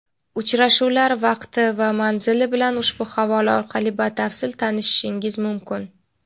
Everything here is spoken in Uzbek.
Uchrashuvlar vaqti va manzili bilan ushbu havola orqali batafsil tanishishingiz mumkin.